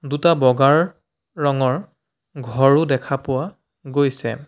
দুটা বগাৰ ৰঙৰ ঘৰো দেখা পোৱা গৈছে।